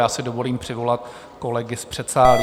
Já si dovolím přivolat kolegy z předsálí.